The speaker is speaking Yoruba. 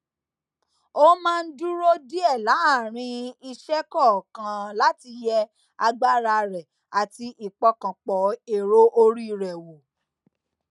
ó máa ń dúró díè láàárín iṣé kòòkan láti yẹ agbára rẹ àti ìpọkàn pọ èrò orí rẹ wọ